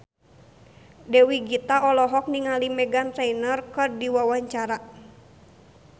Dewi Gita olohok ningali Meghan Trainor keur diwawancara